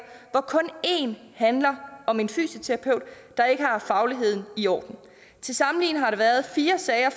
hvor kun én handler om en fysioterapeut der ikke har haft fagligheden i orden til sammenligning har der været fire sager